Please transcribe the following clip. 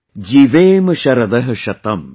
जीवेम शरदः शतम् |